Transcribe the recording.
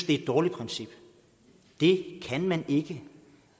det er et dårligt princip det kan man ikke